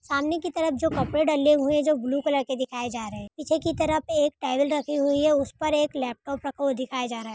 सामने की तरफ जो कपड़े डले हुए जो ब्लू कलर के दिखाए जा रहे है। पीछे की तरफ एक टेबल रखी हुई हैं। उस पर एक लैपटॉप रखा दिखाया जा रहा हैं।